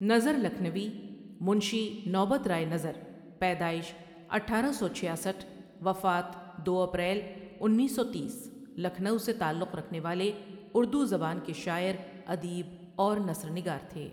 نظر ؔ لکھنؤی منشی نوبت رائے نظرؔ پیدائش اٹھارہ سو چھیاسٹھ وفات دو اپریل انیس سو تیس لکھنؤ سے تعلق رکھنے والے اردو زبان کے شاعر، ادیب اور نثرنگار تھے.